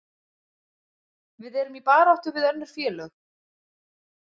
Við erum í baráttu við önnur félög.